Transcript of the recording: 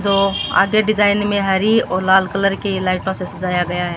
दो आधे डिजाइन में हरी और लाल कलर की लाइटों से सजाया गया है।